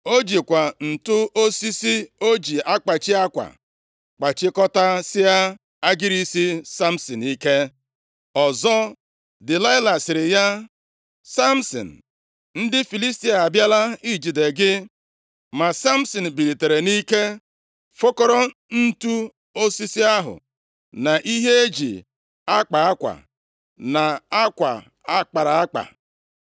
O jikwa ǹtu osisi o ji akpachi akwa, kpachikọtasie agịrị isi Samsin ike. Ọzọ, Delaịla sịrị ya, “Samsin, ndị Filistia abịala ijide gị.” Ma Samsin bilitere nʼike fokọrọ ǹtu osisi ahụ, na ihe eji akpa akwa, na akwa akpara akpa.